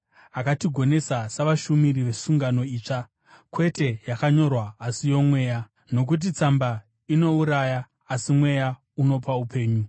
Akatigonesa savashumiri vesungano itsva, kwete yakanyorwa asi yoMweya; nokuti tsamba inouraya, asi Mweya anopa upenyu.